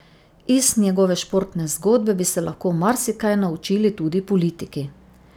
Iz njegove športne zgodbe bi se lahko marsikaj naučili tudi politiki.